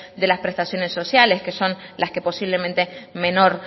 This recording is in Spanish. de las prestaciones sociales que son las que posiblemente menor